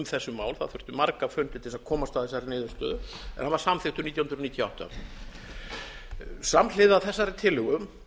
þessi mál það þurfti marga fundi til þess að komast að þessari niðurstöðu en hann var samþykktur nítján hundruð níutíu og átta samhliða þessari tillögu